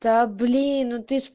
да блин ну ты же